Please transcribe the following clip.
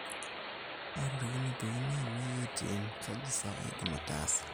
atorikine pin aaine ATM, kaji sa aidim ataasa